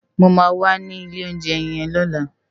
Mó má wà ni ilé óunjè yèn lòlá